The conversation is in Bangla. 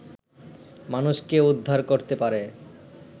মানুষকে উদ্ধার করতে পারে